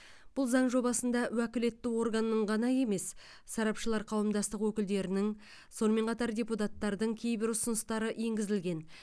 бұл заң жобасында уәкілетті органның ғана емес сарапшылар қауымдастығы өкілдерінің сонымен қатар депутаттардың кейбір ұсыныстары енгізілген